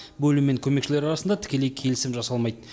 бөлім мен көмекшілер арасында тікелей келісім жасалмайды